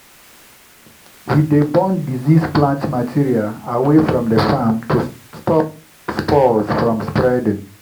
we dey burn diseased plant material away from the farm to stop spores from spreading.